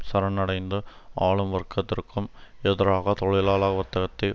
சரணடைந்து ஆளும் வர்க்கத்திற்கும் எதிராக தொழிலாள வர்க்கத்தை